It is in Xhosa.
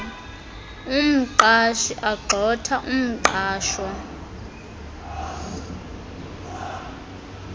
umqashi agxotha umqashwa